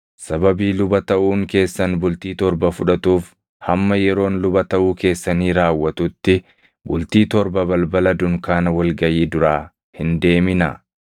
Sababii luba taʼuun keessan bultii torba fudhatuuf hamma yeroon luba taʼuu keessanii raawwatutti bultii torba balbala dunkaana wal gaʼii duraa hin deeminaa.